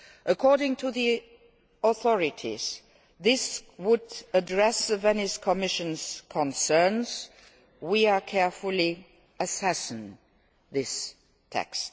According to the authorities, this would address the Venice Commission's concerns. We are carefully assessing this